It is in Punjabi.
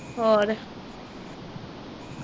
ਹੋਰ?